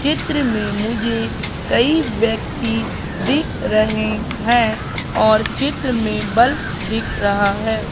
चित्र में मुझे कई व्यक्ति दिख रहे हैं और चित्र में बल्फ दिख रहा है।